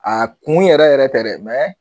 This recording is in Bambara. A kun yɛrɛ yɛrɛ tɛ dɛ